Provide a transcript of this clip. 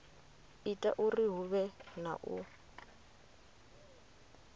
ita uri huvhe na u